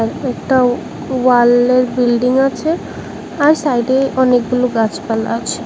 আর একটা ওয়ালের বিল্ডিং আছে আর সাইডে অনেকগুলো গাছপালা আছে।